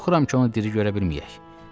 Qorxuram ki, onu diri görə bilməyək.